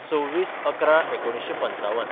२६/११/१९५५